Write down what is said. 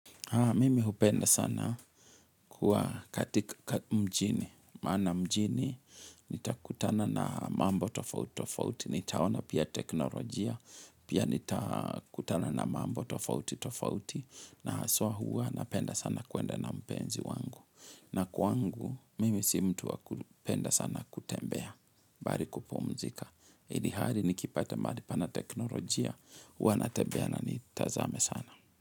Mimi hupenda sana kuwa katika mjini, maana mjini, nitakutana na mambo tofauti tofauti, nitaona pia teknolojia, pia nitakutana na mambo tofauti tofauti, na haswa huwa napenda sana kwenda na mpenzi wangu. Na kwangu, mimi si mtu wa kupenda sana kutembea, bali kupumzika. Ilhali nikipata mahali pana teknolojia, huwa natembea na nitazame sana.